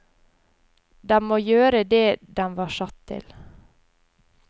Den må gjøre det den var satt til.